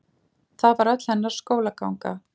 Það var öll hennar skólaganga.